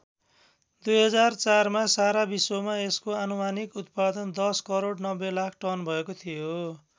२००४ मा सारा विश्वमा यसको आनुमानिक उत्पादन १० करोड ९० लाख टन भएको थियो।